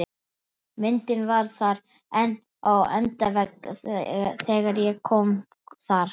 Myndin var þar enn á endavegg þegar ég kom þar